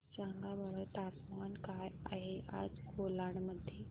सांगा बरं तापमान काय आहे आज कोलाड मध्ये